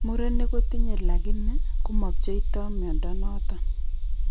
Murenik kotinye lakini komapcheito mnyondo noton